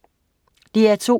DR2: